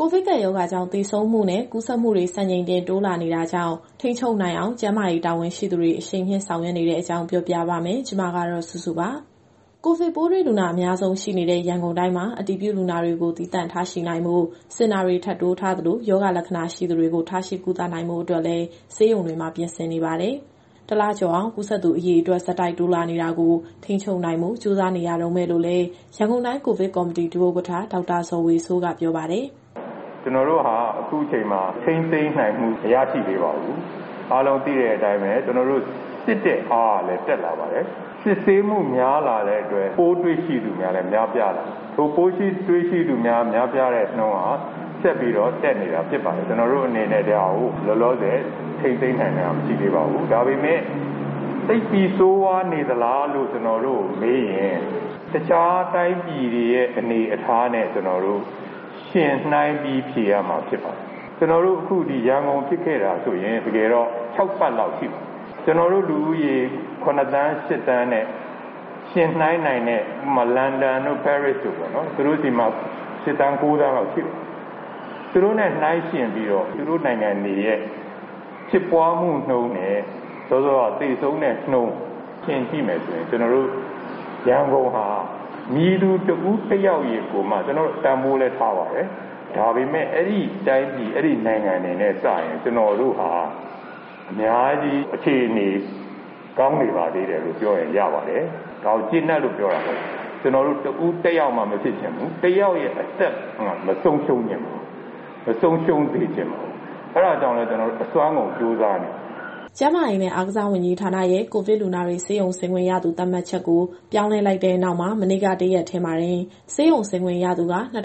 ကိုဗစ်ကပ်ရောဂါကြောင့် သေဆုံးမှုနဲ့ ကူးစက်မှုတွေ စံချိန်တင် တိုးလာနေတာကြောင့် ထိန်းချုပ်နိုင်အောင် ကျန်းမာရေးတာဝန်ရှိသူတွေ အရှိန်မြှင့်ဆောင်ရွက်နေတဲ့အကြောင်း ပြောပြပါမယ်။ ဒီသတင်းကို ဗွီအိုအေမြန်မာပိုင်း သတင်းထောက် မစုစုက တင်ဆက်ပေးမှာပါ။ ကိုဗစ်ပိုးတွေ့လူနာ အများဆုံးရှိနေတဲ့ ရန်ကုန်တိုင်းမှာ အတည်ပြုလူနာတွေကို သီးသန့်ထားရှိနိုင်ဖို့ စင်တာတွေ ထပ်တိုးထားသလို၊ ရောဂါလက္ခဏာရှိသူတွေကို ထားရှိကုသနိုင်ဖို့အတွက်လည်း ဆေးရုံတွေမှာပြင်ဆင်နေပါတယ်။ တလကျော်အောင် ကူးစက်သူ အရေအတွက် ဆက်တိုက် တိုးလာနေတာကို ထိန်းချုပ်နိုင်ဖို့ ကြိုးစားနေရတုန်းပဲလို့လည်း ရန်ကုန်တိုင်းကိုဗစ်ကော်မတီ ဒုဥက္ကဋ္ဌ ဒေါက်တာဇော်ဝေစိုးက ပြောပါတယ်။ “ကျနော်တို့ဟာ အခုချိန်မှာ ထိန်းသိမ်းနိုင်မှု မရရှိသေးပါဘူး။ အားလုံးသိတဲ့အတိုင်းပဲ၊ ကျနော်တို့စစ်တဲ့အားကလည်း တက်လာပါတယ်။ စစ်ဆေးမှုများလာတဲ့အတွက် ပိုးတွေ့ရှိမှုများလည်း များပြားလာပါတယ်။ အခုပိုးတွေ့ရှိသူ များပြားတဲ့နှုန်းက ဆက်ပြီးတော့တက်နေတာဖြစ်ပါတယ်။ ကျနော်တို့အနေနဲ့ ဒီဟာကိုလောလောဆယ် ထိန်းသိမ်းနိုင်တာမရှိသေးပါဘူး။ ဒါပေမဲ့ သိပ်ပြီးဆိုးဝါးနေသလားလို့ ကျနော်တို့ကိုမေးရင် တခြားတိုင်းပြည်တွေရဲ့အနေအထားနဲ့ ယှဉ်နှိုင်းပြီးဖြေရမှာဖြစ်ပါတယ်။ အခုရန်ကုန်ဖြစ်ခဲ့တာဆိုရင် တကယ်တော့ခြောက်ပတ်လောက်ရှိပါပြီ။ ကျနော်တို့လူဦးရေ ၇,၀၀၀,၀၀၀၊ ၈,၀၀၀,၀၀၀ နဲ့ ယှဉ်နှိုင်းနိုင်တဲ့ လန်ဒန်တို့၊ ပဲရစ်တို့ပေါ့နော်။ သူတို့နဲ့နှိုင်းယှဉ်ပြီးတော့ သူတို့နိုင်ငံတွေရဲ့ ဖြစ်ပွားမှုနှုန်းနဲ့ သေဆုံးတဲ့နှုန်းယှဉ်ကြည့်မယ်ဆိုရင် ကျနော်တို့ရန်ကုန်ဟာ မည်သူတဦးတယောက်ကိုမှ ကျနော်တို့တန်ဖိုးလည်းထားပါတယ်။ ဒါပေမဲ့ အဲဒီနိုင်ငံတွေနဲ့စာရင် ကျနော်တို့ဟာ အများကြီးအခြေအနေကောင်းနေပါသေးတယ်လို့ပြောရင် ရပါတယ်။ ဒါကိုကျေနပ်လို့ ပြောတာမဟုတ်ပါဘူး။ ကျနော်တို့တဦးတယောက်မှ မဖြစ်ချင်ဘူး။ တယောက်ရဲ့အသက်မှ မဆုံးရှုံးစေချင်ပါဘူး။ အဲဒါကြောင့်လည်း ကျနော်တို့အစွမ်းကုန်ကြိုးစားနေပါတယ်။" ကျန်းမာရေးနဲ့ အားကစားဝန်ကြီးဌာနရဲ့ ကိုဗစ်လူနာတွေ ဆေးရုံဆင်းခွင့်ရသူ သတ်မှတ်ချက်ကို ပြောင်းလဲလိုက်တဲ့နောက်မှာ မနေ့ကတရက်တည်းမှာ ဆေးရုံဆင်းခွင့်ရသူက ၂,၆၉